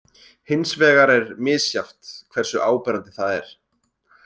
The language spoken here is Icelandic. Hins vegar er misjafnt hversu áberandi það er.